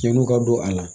Cɛnniw ka don a la